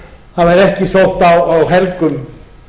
það væri ekki sótt á helgum